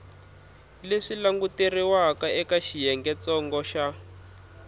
leswi languteriwaka eka xiyengentsongo xa